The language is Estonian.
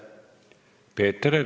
Peeter Ernits.